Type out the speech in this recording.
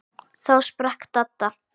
Þá sprakk Dadda.